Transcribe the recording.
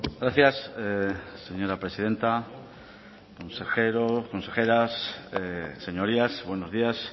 gracias señora presidenta consejeros consejeras señorías buenos días